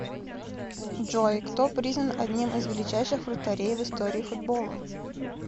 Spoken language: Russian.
джой кто признан одним из величайших вратарей в истории футбола